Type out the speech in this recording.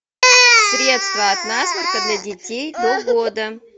средство от насморка для детей до года